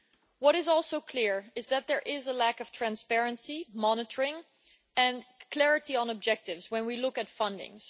What is also clear is that there is a lack of transparency, monitoring and clarity on objectives when we look at funding.